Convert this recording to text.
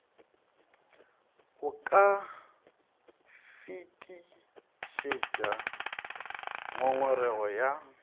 o ka fetišetša ngongorego ya